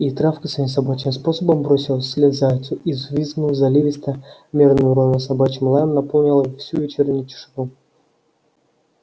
и травка своим собачьим способом бросилась вслед зайцу и взвизгнув заливисто мерным ровным собачьим лаем наполнила всю вечернюю тишину